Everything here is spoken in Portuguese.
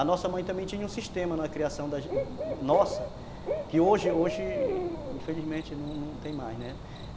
A nossa mãe também tinha um sistema na criação nossa, que hoje, hoje, infelizmente, não tem mais, né.